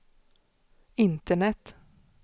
internet